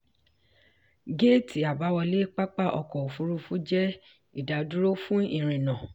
géétì àbáwọlé pápá ọkọ̀ òfurufú jẹ́ ìdádúró fún ìrìnnà.